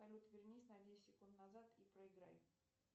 салют вернись на десять секунд назад и проиграй